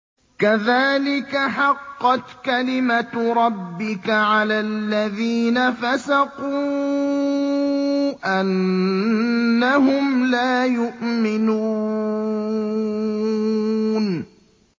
كَذَٰلِكَ حَقَّتْ كَلِمَتُ رَبِّكَ عَلَى الَّذِينَ فَسَقُوا أَنَّهُمْ لَا يُؤْمِنُونَ